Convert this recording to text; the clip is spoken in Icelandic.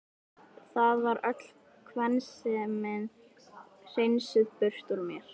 Það var öll kvensemi hreinsuð burt úr mér.